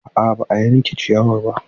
A'a ba a yanka ciyawar ba.